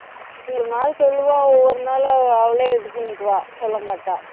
ஒரு நாள் சொல்லுவா ஒவ்வொரு நாளும் அவளே இது பண்ணிக்குவா சொல்ல மாட்டா.